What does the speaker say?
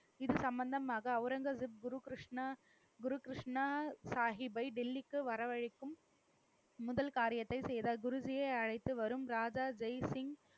இது சம்பந்தமாக அவுரங்கசீப் குரு கிருஷ்ணா, குரு கிருஷ்ணா சாகிபை டெல்லிக்கு வரவழைக்கும் முதல் காரியத்தை செய்தார். குருஜியை அழைத்து வரும் ராதா ஜெய்சிங்,